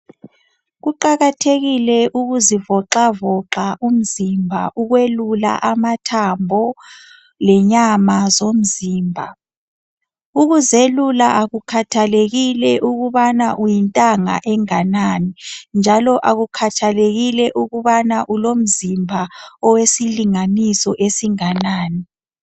Kuqakathekile ukuzivoxavoxa umzimba. Ukwelula amathambo lenyama zomzimba. Ukuzelula kakukhathalekile ukubana uyintanga enganani, njalo kakukhathalelkile ukuthi ulomzimba, owesilinganiso esinganani.